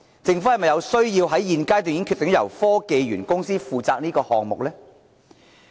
政府是否有需要在現階段便決定由科技園公司負責此項目呢？